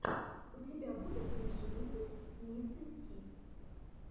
у тебя будет лучший выпуск мисы ки